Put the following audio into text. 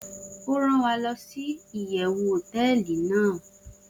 o ran wa losi iyewu hoteeli nàá